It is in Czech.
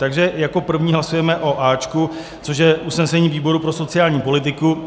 Takže jako první hlasujeme o A, což je usnesení výboru pro sociální politiku.